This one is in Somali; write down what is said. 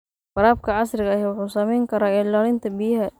Waraabka casriga ahi waxa uu saamayn karaa ilaalinta biyaha.